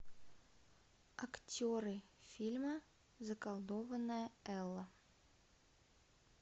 актеры фильма заколдованная элла